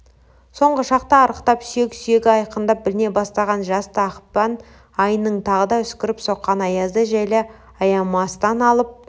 соңғы шақта арықтап сүйек-сүйегі айқындап біліне бастаған жасты ақпан айының тағы да үскіріп соққан аязды желі аямастан алып